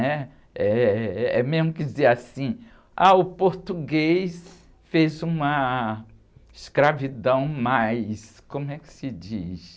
né? Eh, é mesmo que dizer assim, o português fez uma escravidão mais, como é que se diz?